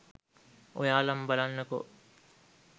ඔයාලම බලන්නකෝ